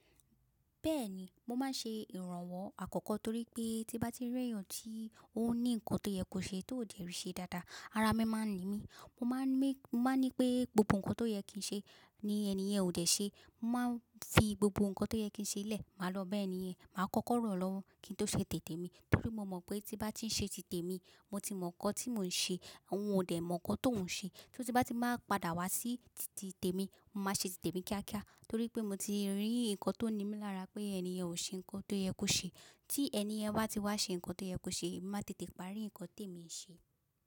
Bẹ́ẹ̀ni, mo máa ń ṣe ìrànwọ́ àkọ́kọ́ torí pé tí bá tí rí ẹ̀yàn tí ó ní nǹkan tó yẹ kó ṣe tó ò dẹ́ rìí ṣe dáadáa, ara mi máa ń ni mí. Mo máa ń ní pé gbogbo nǹkan tó yẹ kí n ṣe ni ènìyàn ò dẹ́ ṣe. Mo máa ń fi gbogbo nǹkan tó yẹ kí n ṣe lẹ̀, màá lọ bá ènìyàn, màá kọ́kọ́ ràn án lọ́wọ́ kí n tó ṣe tẹ̀tè mi. Torí mo mọ̀ pé tí bá ti ń ṣe tìtè mi, mo ti mọ̀ ǹkan tí mò ń ṣe, òun ò dẹ̀ mọ̀ ǹkan tó ń ṣe. Torí tí bá ti máa padà wá sí tìtì tẹ̀tè mi, màá ṣe tìtè mi kíákíá torí pé mo ti rí nǹkan tó ní mí lára pé ènìyàn ò ṣe nǹkan tó yẹ kó ṣe. Tí ènìyen bá ti wá ṣe nǹkan tó yẹ kó ṣe, màá tètè parí nǹkan tẹ̀mi ṣe.